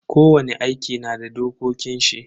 Kowani aiki na da dokokin shi.